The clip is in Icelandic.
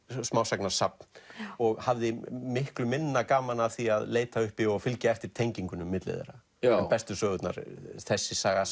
smásagnasafn og hafði miklu minna gaman af því að leita uppi og fylgja eftir tengingunum milli þeirra bestu sögurnar þessi saga